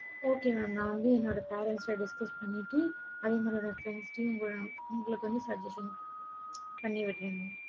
okay mam நான் வந்து என்னோட parents கிட்ட discuss பண்ணிட்டு அவங்களோட உங்களுக்கு வந்து suggestion பண்ணிவிடுறேன்